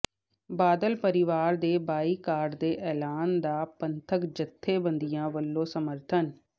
ਬਾਦਲ ਪਰਿਵਾਰ ਦੇ ਬਾਈਕਾਟ ਦੇ ਐਲਾਨ ਦਾ ਪੰਥਕ ਜਥੇਬੰਦੀਆਂ ਵੱਲੋਂ ਸਮਰਥਨ